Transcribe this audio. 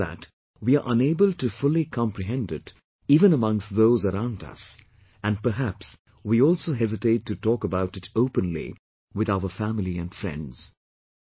The problem is that we are unable to fully comprehend it even amongst those around us, and perhaps we also hesitate to talk about it openly, with our family and friends